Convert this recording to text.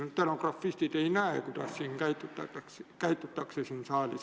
Stenografistid ei näe, kuidas siin saalis käitutakse.